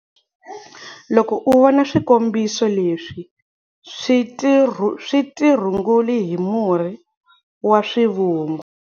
Loko u vona swikombiso leswi swi tirhunguli hi murhi wa swivungu.